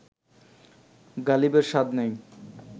গালিবের স্বাদ নেই